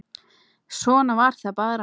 Svona var það bara.